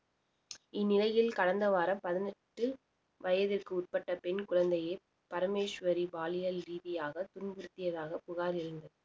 இந்நிலையில் கடந்த வாரம் பதினெட்டு வயதிற்கு உட்பட்ட பெண் குழந்தையை பரமேஸ்வரி பாலியல் ரீதியாக துன்புரிதியதாக புகார் எழுந்தது